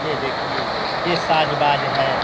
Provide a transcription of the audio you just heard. ये देखिये ये साज-बाज है।